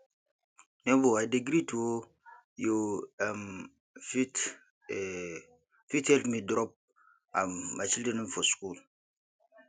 nebor i dey greet o you um fit um fit help me drop um my children for skool